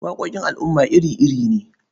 Waƙoƙin al'umma iri-iri ne.